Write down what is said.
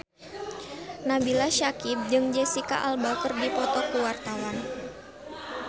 Nabila Syakieb jeung Jesicca Alba keur dipoto ku wartawan